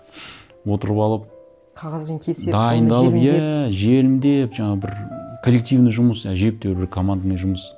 отырып алып қағазбен кеседі оны желімдеп иә желімдеп жаңағы бір коллективный жұмыс әжептәуір бір командный жұмыс